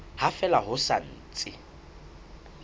ha fela ho sa ntse